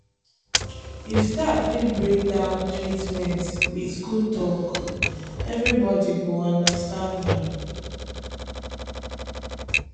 if staff fit break down treatment with cool talk everybody go understand am.